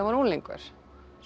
var unglingur